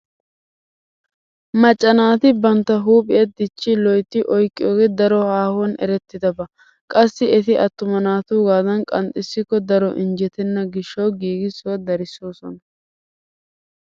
Macca naati bantta huuphiya dichchi loytti oyqqiyoge daro aahuwan erettidaba. Qassi eti attuma naatuugaadan qanxxissikko daro injjetenna gishshawu giigissuwa darissoosona.